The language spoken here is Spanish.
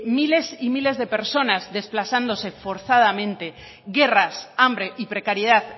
miles y miles de personas desplazándose forzadamente guerras hambre y precariedad